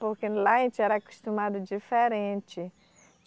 Porque lá a gente era acostumado diferente.